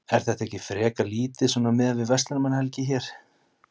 Er þetta ekki frekar lítið svona miðað við verslunarmannahelgi hér?